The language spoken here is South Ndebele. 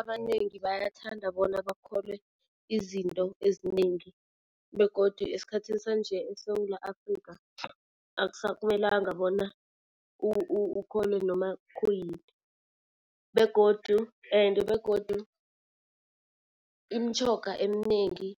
Abanengi bayathanda bona bakholwe izinto ezinengi begodu esikhathini sanje eSewula Afrikha akusakumelanga bona ukholwe noma khuyini. Begodu ende begodu imitjhoga eminengi